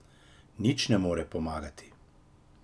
Nič mi ne more pomagati.